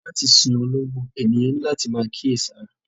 Látì sí olongbo, ènìyàn ni lati màá kí èṣàrà.